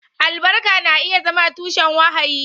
Albarka na iya zama tushen wahayi.